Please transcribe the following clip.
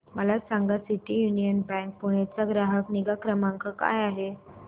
मला सांगा city union bank Pune चा ग्राहक निगा क्रमांक काय आहे